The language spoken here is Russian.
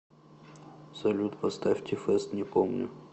салют поставь ти фест не помню